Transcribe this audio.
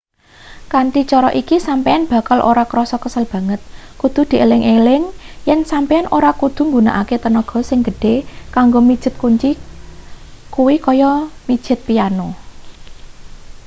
kanthi cara iki sampeyan bakal ora krasa kesel banget kudu dieling-eling yen sampeyan ora kudu nggunakake tenaga sing gedhe kanggo mijet kunci kuwi kaya mijet piano